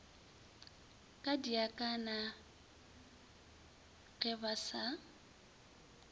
kadiaka na ge ba sa